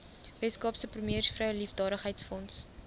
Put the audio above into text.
weskaapse premiersvrou liefdadigheidsfonds